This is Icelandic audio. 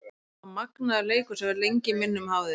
Þetta var magnaður leikur sem verður lengi í minnum hafður.